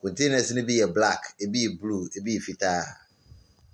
kɔntenas no bi yɛ blak, ebi yɛ bluu ebi yɛ fitaa.